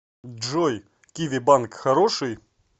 джой киви банк хороший